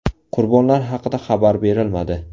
Qurbonlar haqida xabar berilmadi.